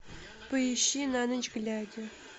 поищи на ночь глядя